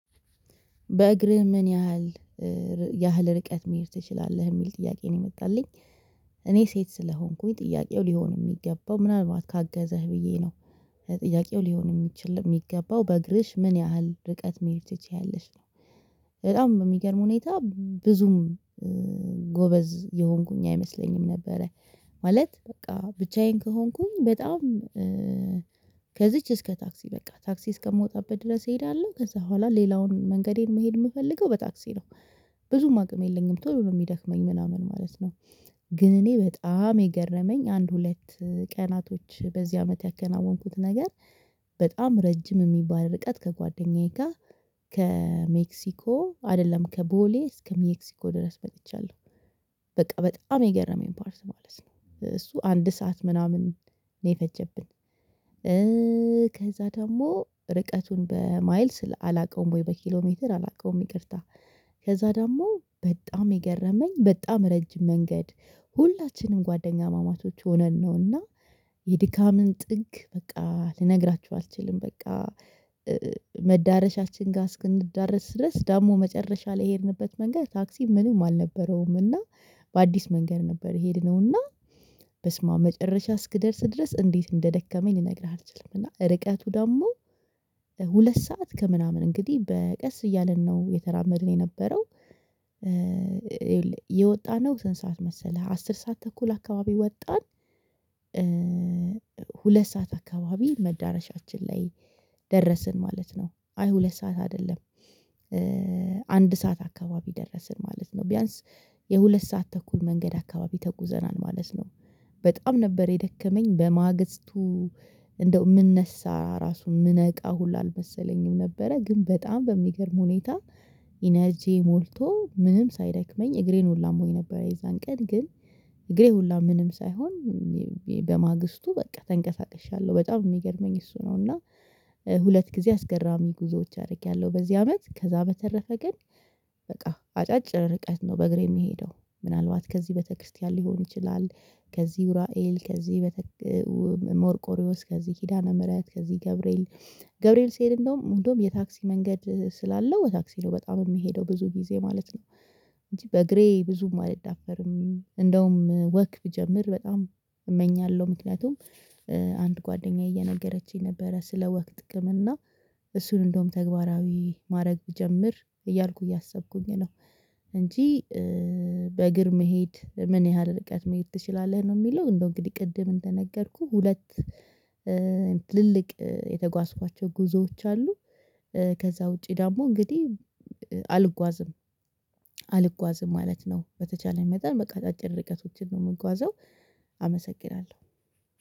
በእግርህ ምን ያህል ያህል ርቀት መሄድ ትችላለህ የሚል ጥያቄ ነው የመጣልኝ እኔ ሴት ስለሆንኩኝ ጥያቄው ሊሆን የሚገባው ምናልባት ካገዘህ ብዬ ነው። ጥያቄው ሊሆን የሚችል የሚገባው በእግርሽ ምን ያህል ርቀት መሄድ ትችያለሽ ነው? በጣም በሚገርም ሁኔታ ብዙም ጎበዝ የሆንኩኝ አይመስለኝም ነበረ። ማለት በቃ ብቻዬን ከሆንኩኝ በጣም ከዚች እስከ ታክሲ በቃ ታክሲ እስከምወጣበት ድረስ እሄዳለሁ ከዛ በኋላ ሌላውን መንገዴን መሄድ የምፈልገው በታክሲ ነው። ብዙም አቅም የለኝም ቶሎ ነው የሚደክመኝ ምናምን ማለት ነው። ግን እኔ በጣም የገረመኝ አንድ ሁለት ቀናቶች በዚህ አመት ያከናወንኩት ነገር በጣም ረጅም የሚባል ርቀት ከጓደኛዬ ጋር ከሜክሲኮ አይደለም ከቦሌ እስከ ሜክሲኮ ድረስ መጥቻለሁ። በቃ በጣም የገረመኝ ፓርት ማለት ነው እሱ አንድ ሰዓት ምናምን ነው የፈጀብኝ። ከዛ ደግሞ ርቀቱን በማይል አላውቀውም ወይ በኪሎ ሜትር አላውቀውም ይቅርታ። ከዛ ደግሞ በጣም የገረመኝ በጣም ረጅም መንገድ ሁላችንም ጓደኛማማቾች ሆነን ነውና። የድካምን ጥግ በቃ ልነግራችሁ አልችልም በቃ። መዳረሻችን ጋር እስክንዳረስ ድረስ ደግሞ መጨረሻ ላይ የሄድንበት መንገድ ታክሲ ምንም አልነበረውም እና በአዲስ መንገድ ነበር የሄድነውና። በስማአም መጨረሻ እስክደርስ ድረስ እንዴት እንደደከመኝ ልነግርህ አልችልም። እና ርቀቱ ደግሞ ሁለት ሰዓት ከምናምን እንግዲህ በቀስ እያለን ነው እየተራመድን የነበረው። የወጣነው ስንት ሰዓት መሰለህ አስር ሰዓት ተኩል አካባቢ ወጣን። ሁለት ሰዓት አካባቢ መዳረሻችን ላይ ደረስን ማለት ነው። አይ ሁለት ሰዓት አይደለም። አንድ ሰዓት አካባቢ ደረስን ማለት ነው። ቢያንስ የሁለት ሰዓት ተኩል መንገድ አካባቢ ተጉዘናል ማለት ነው። በጣም ነበር የደከመኝ በማግስቱ እንደው የምነሳ ራሱን የምነቃ ሁሉ አልመሰለኝም ነበረ ግን በጣም በሚገርም ሁኔታ። ኢነርጂ ሞልቶ ምንም ሳይደክመኝ እግሬን ሁላ አሞኝ ሆይ ነበር የዛን ቀን ግን እግሬ ሁላ ምንም ሳይሆን በማግስቱ በቃ ተንቀሳቅሻለሁ በጣም የሚገርመኝ እሱ ነው። እና ሁለት ጊዜ አስገራሚ ጉዞዎች አድርጌያለሁ በዚህ አመት ከዛ በተረፈ ግን በቃ አጫጭር ርቀት ነው በእግሬ የሚሄደው። ምናልባት ከዚህ ቤተ ክርስቲያን ሊሆን ይችላል። ከዚህ ኡራኤል ከዚህ በተክ ሞርቆሪዮስ ከዚህ ኪዳነ ምህረት ከዚህ ገብርኤል ገብርኤል ሲሄድ እንደውም እንደውም የታክሲ መንገድ ስላለው በታክሲ ነው በጣም የሚሄደው ብዙ ጊዜ ማለት ነው። እንጂ በእግሬ ብዙም አልዳፈርም እንደውም ወክ ብጀምር በጣም እመኛለሁ። ምክንያቱም አንድ ጓደኛዬ እየነገረችኝ ነበረ ስለ ወክ ጥቅም እና እሱን እንደውም ተግባራዊ ማድረግ ብጀምር እያልኩ እያሰብኩኝ ነው። እንጂ መሄድ ምን ያህል ርቀት መሄድ ትችላለህ ነው የሚለው እንደው እንግዲህ ቅድም እንደነገርኩህ ሁለት ትልልቅ የተጓዝኳቸው ጉዞዎች አሉ። ከዛ ውጪ ደግሞ እንግዲህ አልጓዝም አልጓዝም ማለት ነው። በተቻለን መጠን በቃ አጨጭር እርቀቶችን ነው የምጓዘው። አመሰግናለሁ